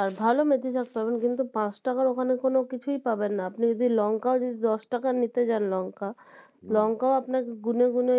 আর ভালো মেথিশাঁক পাবেন কিন্তু পাঁচ টাকার ওখানে কোনও কিছুই পারবেননা আপনি যদি লঙ্কাও যদি দশটাকার নিতে যান লঙ্কা লঙ্কাও আপনাকে গুনে গুনে